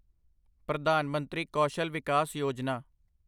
Pradhan Mantri Kaushal Vikas Yojana